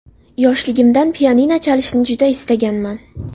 Yoshligimdan pianino chalishni juda istaganman.